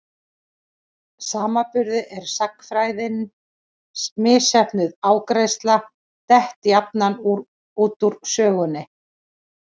samanburði er sagnfræðin misheppnuð ágræðsla, dett jafnan út úr sögunni.